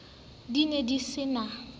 di ne di se na